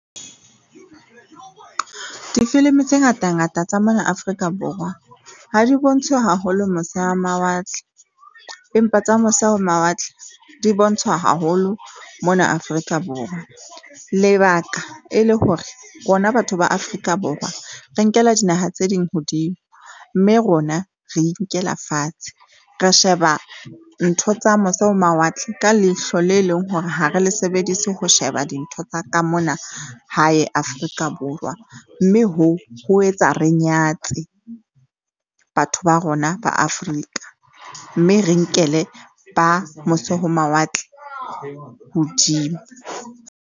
Difilimi tse ngata-ngata tsa mona Afrika Borwa ha di bontshwe haholo mose mawatle, empa tsa mose ho mawatle di bontshwa haholo mona Afrika Borwa. Lebaka e le hore rona batho ba Afrika Borwa, re nkela dinaha tse ding hodimo mme rona re inkela fatshe. Re sheba ntho tsa mose ho mawatle ka leihlo le leng hore ha re le sebedise ho sheba dintho tsa ka mona hae Afrika Borwa, mme ho etsa re nyatse batho ba rona ba Afrika, mme re nkele ba mose ho mawatle hodimo.